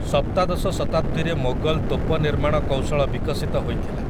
ସପ୍ତାଦଶ ଶତାବ୍ଦୀରେ ମୋଗଲ୍‌ ତୋପ ନିର୍ମାଣ କୌଶଳ ବିକଶିତ ହୋଇଥିଲା ।